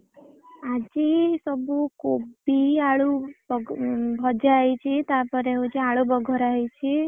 ଆଜି ସବୁ କୋବି ଆଳୁ ଭଜା ହେଇଛି। ତା ପରେ ହଉଛି ଆଳୁ ବଘରା ହେଇଛି।